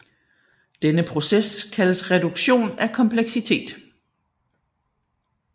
Denne proces kaldes reduktion af kompleksitet